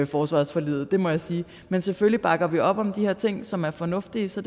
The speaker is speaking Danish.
forsvarsforliget det må jeg sige men selvfølgelig bakker vi op om de her ting som er fornuftige så